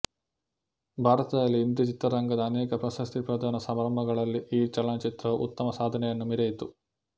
ಭಾರತದಲ್ಲಿ ಹಿಂದಿ ಚಿತ್ರರಂಗದ ಅನೇಕ ಪ್ರಶಸ್ತಿ ಪ್ರದಾನ ಸಮಾರಂಭಗಳಲ್ಲಿ ಈ ಚಲನಚಿತ್ರವು ಉತ್ತಮ ಸಾಧನೆಯನ್ನು ಮೆರೆಯಿತು